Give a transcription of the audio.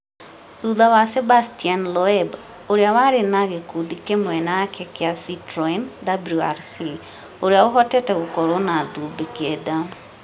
thutha wa Sébastien Loeb, ũrĩa warĩ wa gĩkundi kĩmwe naake kĩa Citroen WRC, ũrĩa ũhotete gũkorwo na thũmbĩ kenda.